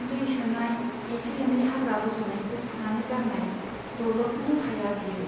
दै सोनाय , एसे एनै हाग्रा रज'नायखौ फुनानै गारनाय, दल'रखौनो थाया बियो।